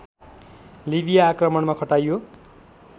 लिबिया आक्रमणमा खटाइयो